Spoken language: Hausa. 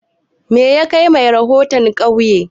Me yakai mai rahoton ƙauye?